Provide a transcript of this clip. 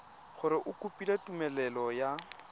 gore o kopile tumelelo ya